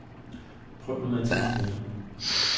Prøv nu at tie stille.